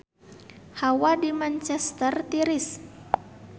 Hawa di Manchester tiris